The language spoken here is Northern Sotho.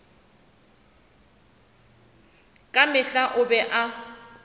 ka mehla o be a